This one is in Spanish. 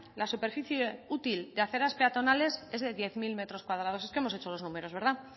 la superficie útil de aceras peatonales es de diez mil metros cuadrados es que hemos hecho los números verdad